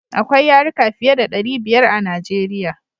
Akwai yaruka fiye da ɗari biyar a Najeriya.